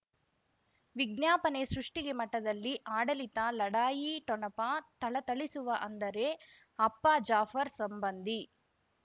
ವಿಜ್ಞಾಪನೆ ಸೃಷ್ಟಿಗೆ ಮಠದಲ್ಲಿ ಆಡಳಿತ ಲಢಾಯಿ ಠೊಣಪ ಥಳಥಳಿಸುವ ಅಂದರೆ ಅಪ್ಪ ಜಾಫರ್ ಸಂಬಂಧಿ